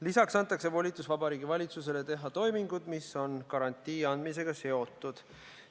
Lisaks antakse Vabariigi Valitsusele volitus teha toimingud, mis on garantii andmisega seotud.